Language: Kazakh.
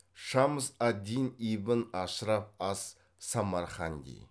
шамс ад дин ибн ашраф ас самарханди